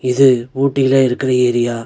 இது ஊட்டில இருக்குற ஏரியா .